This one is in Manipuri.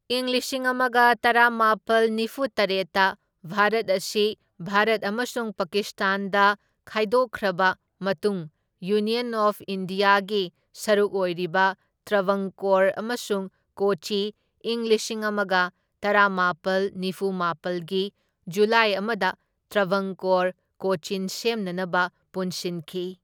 ꯏꯪ ꯂꯤꯁꯤꯡ ꯑꯃꯒ ꯇꯔꯥꯃꯥꯄꯜ ꯅꯤꯐꯨ ꯇꯔꯦꯠꯇ ꯚꯥꯔꯠ ꯑꯁꯤ ꯚꯥꯔꯠ ꯑꯃꯁꯨꯡ ꯄꯥꯀꯤꯁꯇꯥꯟꯗ ꯈꯥꯏꯗꯣꯛꯈ꯭ꯔꯕ ꯃꯇꯨꯡꯗ, ꯌꯨꯅ꯭ꯌꯟ ꯑꯣꯐ ꯏꯟꯗꯤꯌꯥꯒꯤ ꯁꯔꯨꯛ ꯑꯣꯏꯔꯤꯕ ꯇ꯭ꯔꯚꯪꯀꯣꯔ ꯑꯃꯁꯨꯡ ꯀꯣꯆꯤ ꯏꯪ ꯂꯤꯁꯤꯡ ꯑꯃꯒ ꯇꯔꯥꯃꯥꯄꯜ ꯅꯤꯐꯨ ꯃꯥꯄꯜꯒꯤ ꯖꯨꯂꯥꯏ ꯑꯃꯗ ꯇ꯭ꯔꯚꯪꯀꯣꯔ ꯀꯣꯆꯤꯟ ꯁꯦꯝꯅꯅꯕ ꯄꯨꯟꯁꯤꯟꯈꯤ꯫